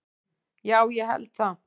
Já, ég held það